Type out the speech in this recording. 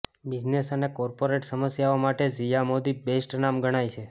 business અને corporate સમસ્યાઓ માટે ઝિયા મોદી બેસ્ટ નામ ગણાય છે